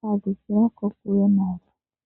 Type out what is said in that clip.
hadhukila po kokule.